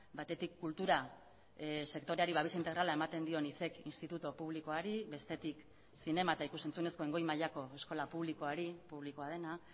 batetik kultura sektoreari babes integrala ematen dion institutu publikoari bestetik zinema eta ikus entzunezkoen goi mailako eskola publikoari publikoa dena